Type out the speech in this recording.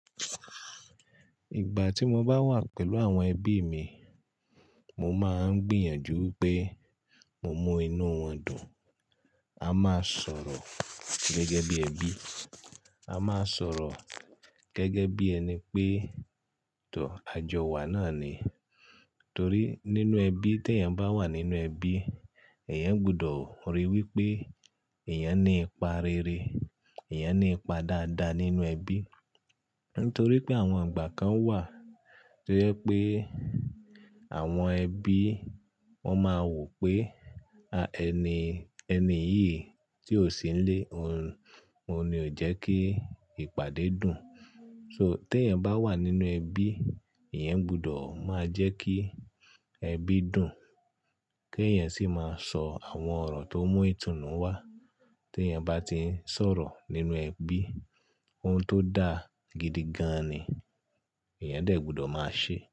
Ìgbà tí mo bá wà pẹ̀lú àwọn ẹbí mi, mo máa ń gbìyànjú pé mo mú inú wọn dùn. A máa sọ̀rọ̀ gẹ́gẹ́ bí ẹbí. A máa sọ̀rọ̀ gẹ́gẹ́ bí ẹni pé, tọ́ ajọ wa náà ni. Torí nínú ẹbí, tí eyan bá wà nínú ẹbí, ẹ̀yan gbọdọ̀ ríi wí pé ẹ̀yan ní ipa rere, ẹ̀yan ní ipa dáadáa nínú ẹbí. Nítorí pé àwọn ìgbà kan wà tó yẹ pé àwọn ẹbí wọ́n máa wò pé, ẹni, ẹni yìí tí ó sí nílé òun, òun ni ó jẹ́ kí ìpàdé dùn. So tí ẹ́yań bá wà nínú ẹbí, ẹ̀yan gbọdọ̀ máa jẹ́ kí ẹbí dùn. Kí ẹ̀yan sì máa sọ àwọn ọ̀rọ̀ tó mú ìtùnú wá. Tí ẹ́yań bá ti ń sọ̀rọ̀ nínú ẹbí, ohun tó dá gidi gan ni ẹ̀yan dẹ̀ gbọdọ̀ máa ṣe.